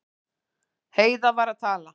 Heiða var að tala.